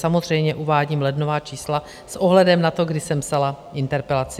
Samozřejmě uvádím lednová čísla s ohledem na to, kdy jsem psala interpelaci.